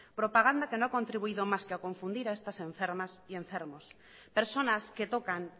propaganda que no ha contribuido más que a confundir a estas enfermas y enfermos personas que tocan